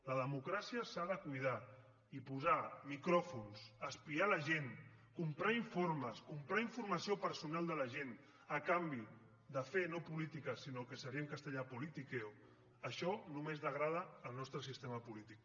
la democràcia s’ha de cuidar i posar micròfons espiar la gent comprar informes comprar informació personal de la gent a canvi de fer no política sinó el que seria en castellà politiqueonomés degrada el nostres sistema polític